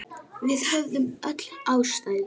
Við höfðum öll ástæðu.